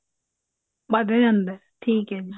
ਵੱਧ ਜਾਂਦਾ ਠੀਕ ਹੈ ਜੀ